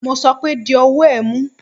Mo sọ pé di ọwọ ẹ̀ mú.!